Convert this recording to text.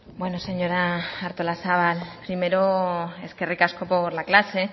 bueno señora artolazabal primero eskerrik asko por la clase